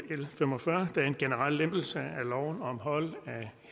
l fem og fyrre der er en generel lempelse af loven om hold af